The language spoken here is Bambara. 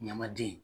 Ɲamaden